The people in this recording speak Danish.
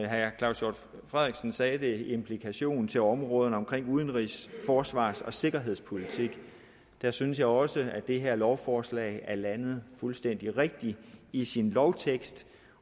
herre claus hjort frederiksen sagde det implikationer til områderne om udenrigs forsvars og sikkerhedspolitik der synes jeg også at det her lovforslag er landet fuldstændig rigtigt i sin lovtekst